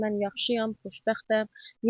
Mən yaxşıyam, xoşbəxtəm.